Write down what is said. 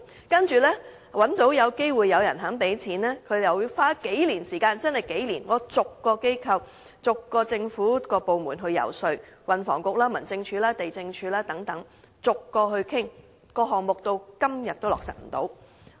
當找到機會有人提供資金後，我們要花數年時間逐個政府部門遊說，包括運輸及房屋局、民政事務總署、地政總署等，但項目至今仍未能落實。